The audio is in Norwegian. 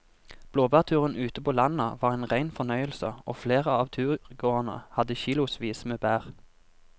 Blåbærturen ute på landet var en rein fornøyelse og flere av turgåerene hadde kilosvis med bær.